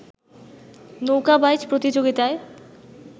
নৌকা বাইচ প্রতিযোগিতায়